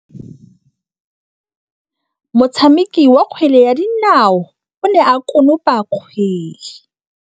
Motshameki wa kgwele ya dinaô o ne a konopa kgwele.